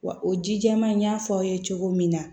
Wa o ji jɛman in y'a fɔ aw ye cogo min na